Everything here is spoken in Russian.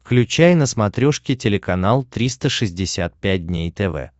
включай на смотрешке телеканал триста шестьдесят пять дней тв